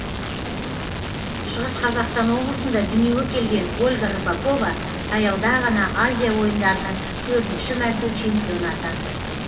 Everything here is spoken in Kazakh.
шығыс қазақстан облысында дүниеге келген ольга рыпакова таяуда ғана азия ойындарының төртінші мәрте чемпионы атанды